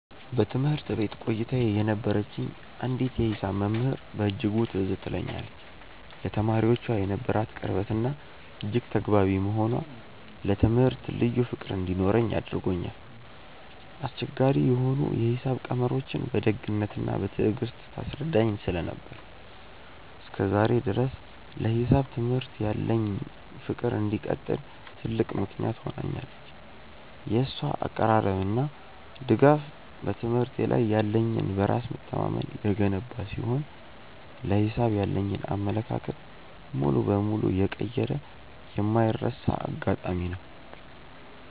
በትምህርት ቤት ቆይታዬ የነበረችኝ አንዲት የሂሳብ መምህር በእጅጉ ትዝ ትለኛለች፤ ለተማሪዎቿ የነበራት ቅርበትና እጅግ ተግባቢ መሆኗ ለትምህርቱ ልዩ ፍቅር እንዲኖረኝ አድርጎኛል። አስቸጋሪ የሆኑ የሂሳብ ቀመሮችን በደግነትና በትዕግስት ታስረዳኝ ስለነበር፣ እስከ ዛሬ ድረስ ለሂሳብ ትምህርት ያለኝ ፍቅር እንዲቀጥል ትልቅ ምክንያት ሆናኛለች። የእሷ አቀራረብና ድጋፍ በትምህርቴ ላይ ያለኝን በራስ መተማመን የገነባ ሲሆን፣ ለሂሳብ ያለኝን አመለካከት ሙሉ በሙሉ የቀየረ የማይረሳ አጋጣሚ ነው።